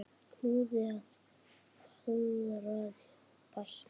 Hlúði að, fegraði og bætti.